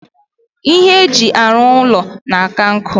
Ihe ndi eji aru ulo na-aka nku.